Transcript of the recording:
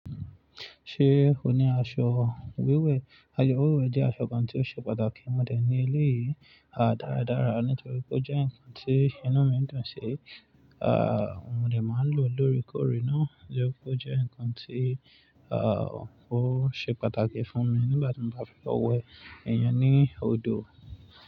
Ṣé ò ní aṣọ wíwẹ̀? Aṣọ wíwẹ̀ jẹ́ aṣọ kan tí ó ṣe pàtàkì mọ́ dẹ̀ ní ilé yìí, à dáradára nítorí pé ó jẹ́ ǹkan tí inú mi dùn sí. À mọ́ dẹ̀ máa ń lò ó lórè korè náà, nítorí pé ó jẹ́ ǹkan tí à ó ṣe pàtàkì fún mi nígbà tí mo bá fẹ́ wẹ ènìyàn ní odò.